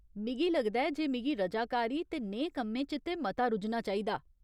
मिगी लगदा ऐ जे मिगी रजाकारी ते नेहे कम्में च ते मता रुज्झना चाहिदा।